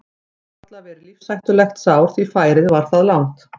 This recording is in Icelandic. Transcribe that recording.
Það gat samt varla verið lífshættulegt sár því færið var það langt.